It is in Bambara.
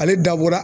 Ale dabɔra